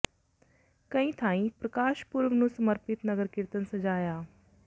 ਕਈ ਥਾਈਂ ਪ੍ਰਕਾਸ਼ ਪੁਰਬ ਨੂੰ ਸਮਰਪਿਤ ਨਗਰ ਕੀਰਤਨ ਸਜਾਇਆ